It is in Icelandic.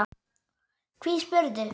Hví spyrðu?